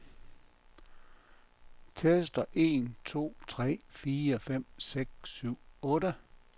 Tester en to tre fire fem seks syv otte.